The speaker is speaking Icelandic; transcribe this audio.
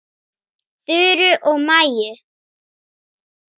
Þuru og Maju.